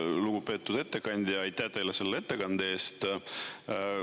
Lugupeetud ettekandja, aitäh teile selle ettekande eest!